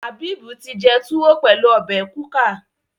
Habib tí jé tuwo pẹlú obè kuka.